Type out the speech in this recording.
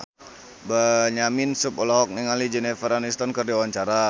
Benyamin Sueb olohok ningali Jennifer Aniston keur diwawancara